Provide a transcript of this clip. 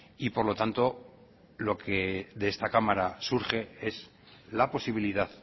y por lo tanto lo que de esta cámara surge es la posibilidad